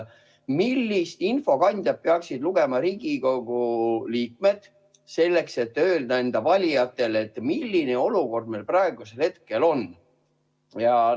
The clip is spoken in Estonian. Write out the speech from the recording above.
Millist infokandjat peaksid lugema Riigikogu liikmed selleks, et öelda enda valijatele, milline olukord meil praegusel hetkel on?